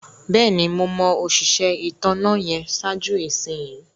Bẹ́ẹ̀ni, mo mọ̀ òṣisẹ ìtànà yẹn sáàjú ìṣinyì.